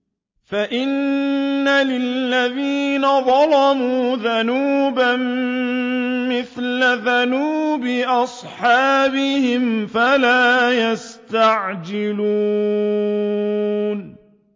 فَإِنَّ لِلَّذِينَ ظَلَمُوا ذَنُوبًا مِّثْلَ ذَنُوبِ أَصْحَابِهِمْ فَلَا يَسْتَعْجِلُونِ